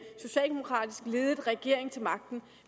socialdemokratisk ledet regering til magten